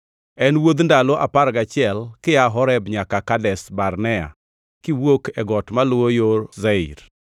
(En wuodh ndalo apar gachiel kia Horeb nyaka Kadesh Barnea kiwuok e got maluwo yo Seir.)